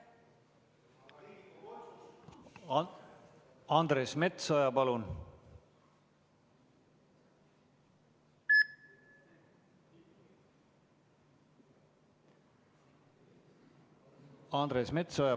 Andres Metsoja, palun!